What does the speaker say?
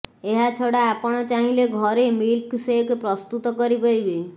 ଏହାଛଡ଼ା ଆପଣ ଚାହିଁଲେ ଘରେ ମିଲ୍କ ଶେକ୍ ପ୍ରସ୍ତୁତ କରିପାରିବେ